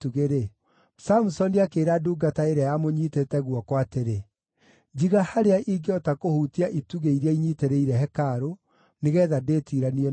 Samusoni akĩĩra ndungata ĩrĩa yamũnyiitĩte guoko atĩrĩ, “Njiga harĩa ingĩhota kũhutia itugĩ iria inyiitĩrĩire hekarũ, nĩgeetha ndĩtiiranie nacio.”